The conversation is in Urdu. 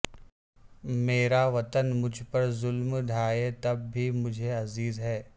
میرا وطن مجھ پر ظلم ڈھائے تب بھی مجھے عزیز ہے